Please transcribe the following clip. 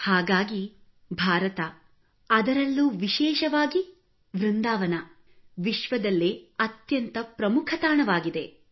ಹಾಗಾಗಿ ಭಾರತ ಅದರಲ್ಲೂ ವಿಶೇಷವಾಗಿ ವೃಂದಾವನ ವಿಶ್ವದಲ್ಲೇ ಅತ್ಯಂತ ಪ್ರಮುಖ ತಾಣವಾಗಿದೆ